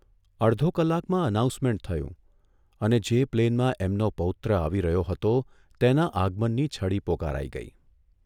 અડધો કલાકમાં એનાઉન્સમેન્ટ થયું અને જે પ્લેનમાં એમનો પૌત્ર આવી રહ્યો હતો તેના આગમનની છડી પોકારાઇ ગઇ.